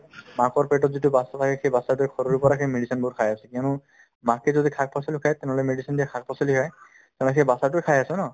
মাকৰ পেটত যিটো batches থাকে সেই batches তোয়ে শৰীৰ পৰা সেই medicine বোৰ খাই আছে কিয়নো মাকে যদি শাক-পাচলি খাই তেনেহ'লে medicine দিয়া শাক-পাচলি খাই তেনেহ'লে সেই batches তোয় খাই আছে ন